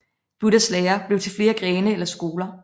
Buddhas lære blev til flere grene eller skoler